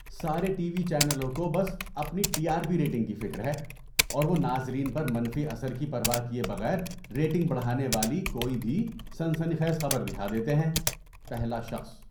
سارے TV چینلوں کو بس اپنی ٹی آر پی ریٹنگ کی فکر ہے اور وہ ناظرین پر منفی اثر کی پرواہ کیے بغیر ریٹنگ بڑھانے والی کوئی بھی سنسنی خیز خبر دکھا دیتے ہیں۔ (پہلا شخص)